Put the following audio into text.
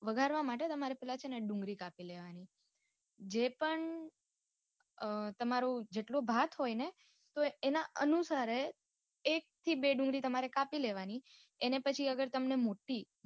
વઘારવા માટે પેલા તમારે છે ને ડુંગળી કાપી લેવાની જે પણ અ તમારું જેટલો ભાત હોય ને તો એના અનુસારે એક થી બે ડુંગળી તમારે કાપી લેવાની એને પછી હવે તમને